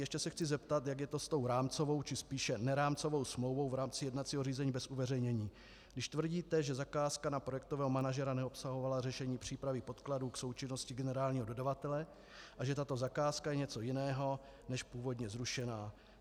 Ještě se chci zeptat, jak je to s tou rámcovou či spíše nerámcovou smlouvou v rámci jednacího řízení bez uveřejnění, když tvrdíte, že zakázka na projektového manažera neobsahovala řešení přípravy podkladů k součinnosti generálního dodavatele a že tato zakázka je něco jiného než původně zrušená.